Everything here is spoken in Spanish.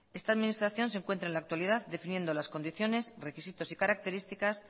esta administración se encuentra en la actualidad definiendo las condiciones requisitos y característica